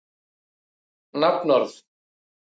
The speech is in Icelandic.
Sjá má leifar akkerismerkis á korktöppunum